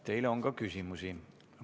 Teile on ka küsimusi.